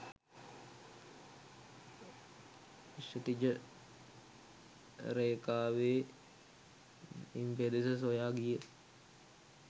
ක්ෂිතිජ රේඛාවේ ඉම් පෙදෙස සොයා ගිය